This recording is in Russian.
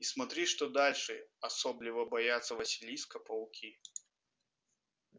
и смотри что дальше особливо боятся василиска пауки